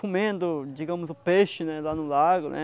Comendo, digamos, o peixe né lá no lago, né?